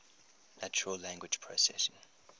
natural language processing